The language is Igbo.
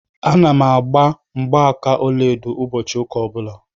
A na m agbà mgbaaka ọlaedo ụbọchị ụka ọ bụla.